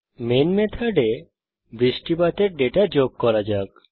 main মেথডে বৃষ্টিপাতের data যোগ করা যাক